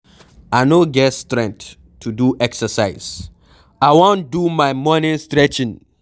I no get strength to do exercise, I wan do my morning stretching.